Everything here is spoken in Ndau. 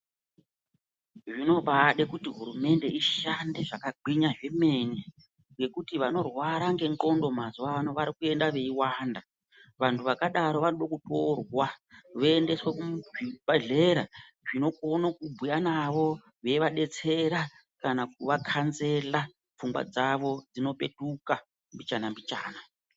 Zvinobade kuti hurumende ishande zvakagwinya kwemene ngekuti vanorware ngendxondo mwazuwano varikuende veiwanda vantu vakadaro vanode kutorwa voendeswe kuzvibhedhleya zvinokone kubhuye navo zvivadetsera kana kuvakanzela pfungwa dzavo dzinopetuka mbichana mbichana.